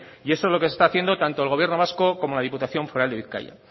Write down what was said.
y eso es lo que se está haciendo tanto el gobierno vasco como la diputación foral de bizkaia